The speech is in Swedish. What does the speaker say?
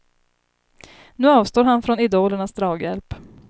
Nu avstår han från idolernas draghjälp.